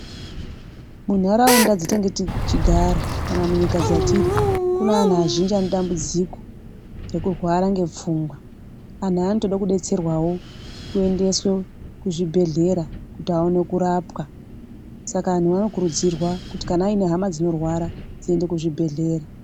Munharaunda dzatinenge tichigara kana munyika dzatiri kune anhu azhinji anotambudzika ngekurwara ngepfungwa anhu aya anotoda kudetserwawo kuendeswe kuzvibhedhlera kuti aone kurapwa saka anhu anokurudzirwa kuti kana aine hama dzinorwara dziende kuzvibhedhlera.